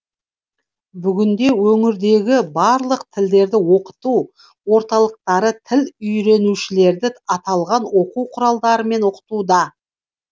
бүгінде өңірдегі барлық тілдерді оқыту орталықтары тіл үйренушілерді аталған оқу құралдарымен оқытуда